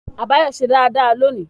Àbáyọ́mí se dáradára loni